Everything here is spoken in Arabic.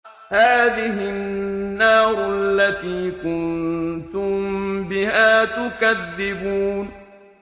هَٰذِهِ النَّارُ الَّتِي كُنتُم بِهَا تُكَذِّبُونَ